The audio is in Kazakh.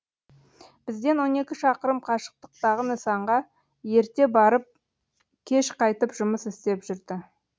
бізден он екі шақырым қашықтықтағы нысанға ерте барып кеш қайтып жұмыс істеп жүрді